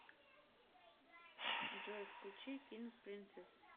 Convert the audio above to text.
джой включи кинг принцесс